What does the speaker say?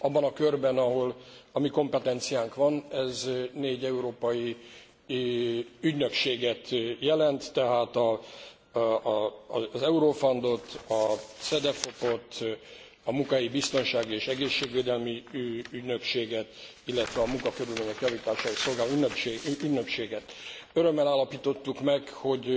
Abban a körben, ahol a mi kompetenciánk van, ez négy európai ügynökséget jelent, tehát az Eurofund ot, a CEDEFOP ot, a Munkahelyi Biztonsági és Egészségvédelmi Ügynökséget, illetve a Munkakörülmények Javítását Szolgáló Ügynökséget. Örömmel állapítottuk meg, hogy